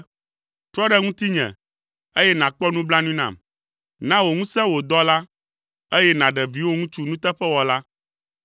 Trɔ ɖe ŋutinye, eye nàkpɔ nublanui nam; na wò ŋusẽ wò dɔla, eye nàɖe viwò ŋutsu nuteƒewɔla.